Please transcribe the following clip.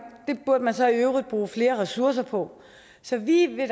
så i øvrigt bruge flere ressourcer på så vi vil